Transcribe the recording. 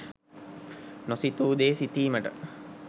නොසිතූ දේ සිතීමට